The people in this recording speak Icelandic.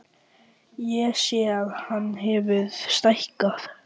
Ég sé að hann hefur stækkað.